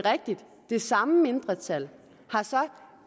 det samme mindretal har sagt